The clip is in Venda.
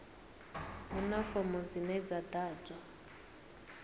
huna fomo dzine dza ḓadzwa